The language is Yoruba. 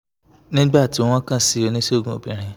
nígbà tí wọ́n kàn sí oníṣègùn obìnrin